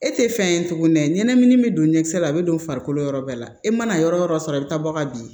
E tɛ fɛn ye tuguni ne ye ɲɛnamini min don ɲɛkisɛ la a bɛ don farikolo yɔrɔ bɛɛ la e mana yɔrɔ yɔrɔ sɔrɔ i bɛ taa bɔ ka bin